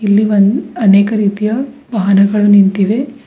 ಇಲ್ಲಿ ಒನ್ ಅನೇಕ ರೀತಿಯ ವಾಹನಗಳು ನಿಂತಿವೆ.